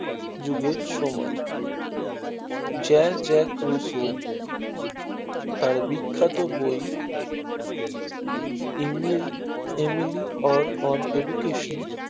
যুগের সময় জ্যার জ্যার ত্রুশো তার বিখ্যাত বই এনবিল এমিলি or on education